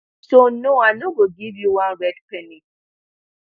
so no i no go give you one red penny